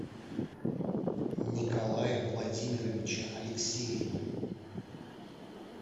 николая владимировича алексеева